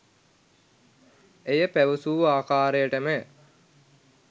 ඇය පැවසූ ආකාරයටම